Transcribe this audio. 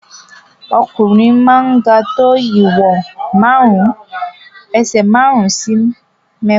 Ọkùnrin máa ń ga tó ìwọ̀n ẹsẹ̀ márùn-ún sí mẹ́fà.